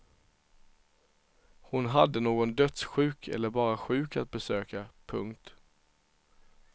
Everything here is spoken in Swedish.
Hon hade någon dödssjuk eller bara sjuk att besöka. punkt